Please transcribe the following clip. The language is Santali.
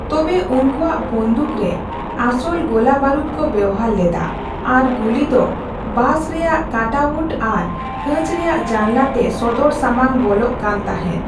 ᱛᱚᱵᱮ, ᱩᱱᱠᱩᱣᱟᱜ ᱵᱚᱱᱫᱷᱩᱠ ᱨᱮ ᱟᱥᱚᱞ ᱜᱚᱞᱟᱹᱵᱟᱹᱨᱩᱫᱽ ᱠᱚ ᱵᱮᱣᱦᱟᱨ ᱞᱮᱫᱟ ᱟᱨ ᱜᱩᱞᱤ ᱫᱚ ᱵᱟᱥ ᱨᱮᱭᱟᱜ ᱠᱟᱴᱟᱣᱩᱴ ᱟᱨ ᱠᱟᱸᱪ ᱨᱮᱭᱟᱜ ᱡᱟᱱᱞᱟ ᱛᱮ ᱥᱚᱫᱚᱨ ᱥᱟᱢᱟᱝ ᱵᱚᱞᱚᱜ ᱠᱟᱱ ᱛᱟᱦᱮᱸᱫ᱾